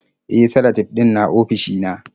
E, salatif ɗin na ofishina.